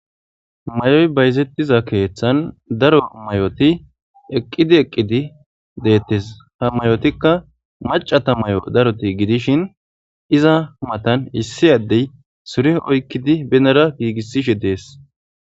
Mayoy bayzetiza keethan daro mayoti eqqidi eqqidi de'etes. Ha mayotika maccata mayo darozi gidishin iza matan issi addey sure oykidi benara gigisishe de'es.